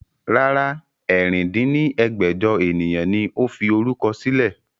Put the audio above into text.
Rárá, ẹ̀rin dín ní ẹgbẹ́jọ ènìyàn ni ó fi orúkọ sílẹ̀